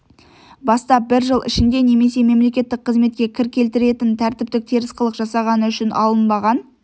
бастап бір жыл ішінде немесе мемлекеттік қызметке кір келтіретін тәртіптік теріс қылық жасағаны үшін алынбаған